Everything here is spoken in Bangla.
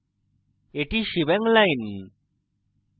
এটি shebang line